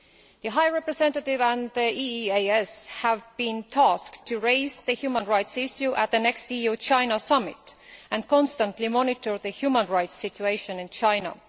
The High Representative and the EEAS have been tasked with raising the human rights issue at the next EU China Summit and constantly monitor the human rights situation in China.